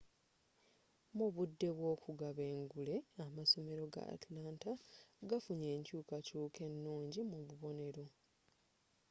mu budde bw'okugaba engule amasomera ga atlanta gafunye enkyuukakyuuka ennungi mu bubonero